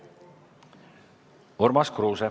Urmas Kruuse.